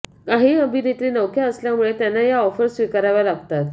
काही अभिनेत्री नवख्या असल्यामुळे त्यांना या ऑफर स्वीकाराव्या लागतात